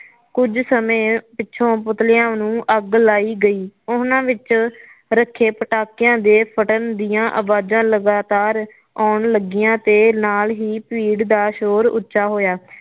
ਕੁਝ ਸਮੇ ਪਿਛੋਂ ਪੁਤਲਿਆ ਨੂੰ ਅੱਗ ਲਾਈ ਗਈ ਉਹਨੇ ਵਿਚ ਰੱਖੇ ਪਟਾਕਿਆ ਦੇ ਫੱਟਣ ਦੀਆਂ ਆਵਾਜਾ ਲਗਾਤਾਰ ਆਉਣ ਲੱਗੀਆਂ ਤੇ ਨਾਲ ਹੀ ਭੀੜ ਦਾ ਸ਼ੋਰ ਉੱਚਾ ਹੋਇਆ